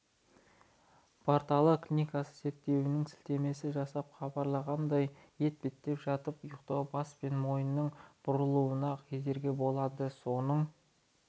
порталы клиниканың зерттеуіне сілтеме жасап хабарлағанындай етпеттеп жатып ұйықтау бас пен мойынның бұрылуына кедергі болады соның